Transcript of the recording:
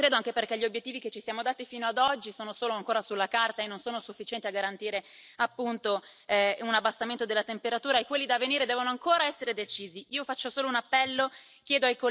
Io purtroppo non credo. Non lo credo, anche perché gli obiettivi che ci siamo dati fino ad oggi sono solo ancora sulla carta e non sono sufficienti a garantire un abbassamento della temperatura, e quelli da venire devono ancora essere decisi.